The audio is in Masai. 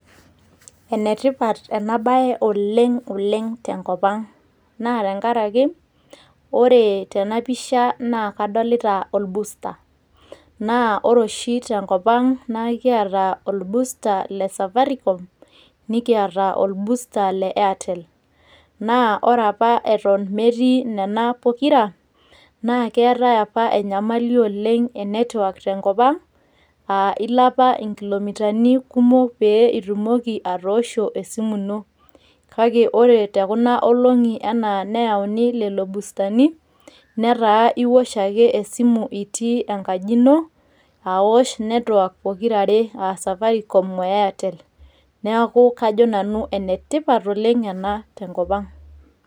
Enetipat enabae oleng'oleng' tenkop ang'. Na tenkaraki, ore tena pisha na kadolita orbusta. Na ore oshi tenkop ang' na kiata orbusta le Safaricom, nikiata orbusta le Airtel. Na ore apa eton metii nena pokira, na keetae apa enyamali oleng' enetwak tenkop ang',ah ilo apa inkilomitani kumok pe itumoki atoosho esimu ino. Kake ore tekunoolong'i enaa neyauni lelo bustani, neeta iwosh ake esimu itii enkaji ino, awosh netwak pokirare, ah Safaricom o Airtel. Neeku kajo nanu enetipat oleng' ena tenkop ang'.